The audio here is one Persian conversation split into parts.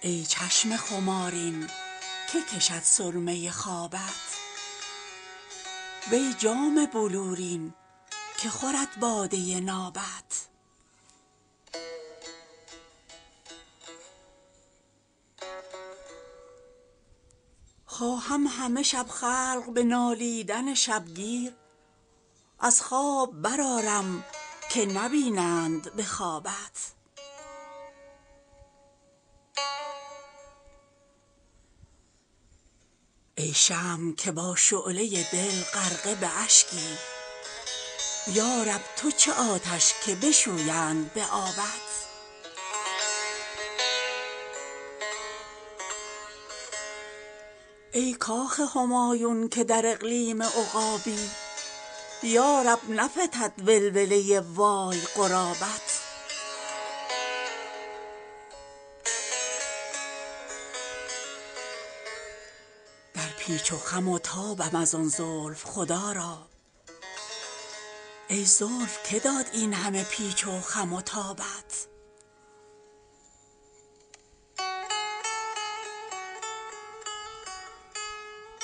ای چشم خمارین که کشد سرمه خوابت وی جام بلورین که خورد باده نابت خواهم همه شب خلق به نالیدن شبگیر از خواب برآرم که نبینند به خوابت ای شمع که با شعله دل غرقه به اشکی یارب تو چه آتش که بشویند به آبت ای کاخ همایون که در اقلیم عقابی یارب نفتد ولوله وای غرابت در پیچ و خم و تابم از آن زلف خدا را ای زلف که داد این همه پیچ و خم و تابت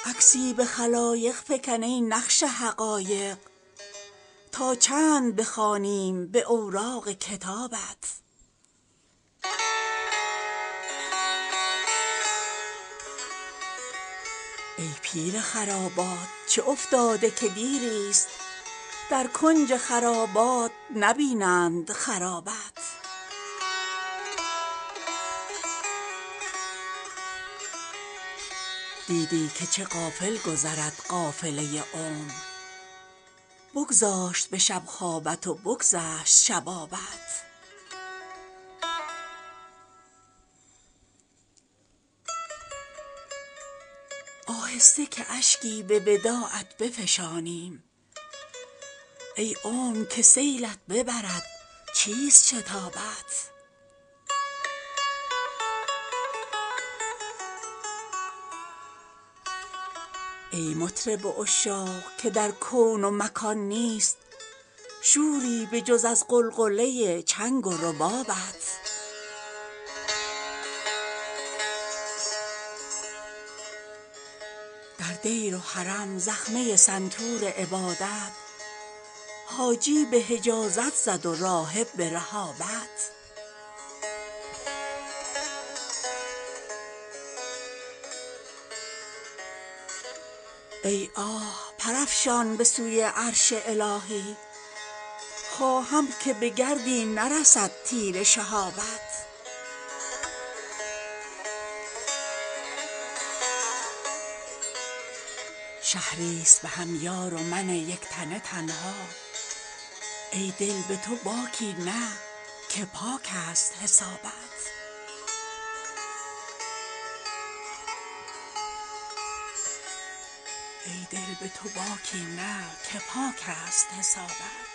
عکسی به خلایق فکن ای نقش حقایق تا چند بخوانیم به اوراق کتابت ای پیر خرابات چه افتاده که دیریست در کنج خرابات نبینند خرابت دیدی که چه غافل گذرد قافله عمر بگذاشت به شب خوابت و بگذشت شبابت آهسته که اشکی به وداعت بفشانیم ای عمر که سیلت ببرد چیست شتابت ای مطرب عشاق که در کون و مکان نیست شوری به جز از غلغله چنگ و ربابت در دیر و حرم زخمه سنتور عبادت حاجی به حجازت زد و راهب به رهابت ای آه پر افشان به سوی عرش الهی خواهم که به گردی نرسد تیر شهابت شهریست بهم یار و من یک تنه تنها ای دل به تو باکی نه که پاکست حسابت